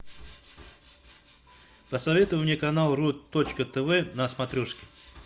посоветуй мне канал ру точка тв на смотрешке